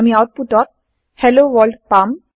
আমি আওতপুত ত হেলোৱৰ্ল্ড পাম